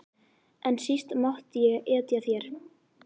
En síst mátti ég etja þér.